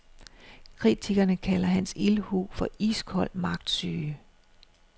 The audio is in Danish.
Kritikerne kalder hans ildhu for iskold magtsyge.